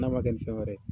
N'a ma kɛ ni fɛn wɛrɛ ye